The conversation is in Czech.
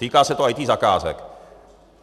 Týká se to IT zakázek.